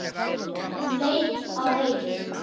Hún leit á Heiðu.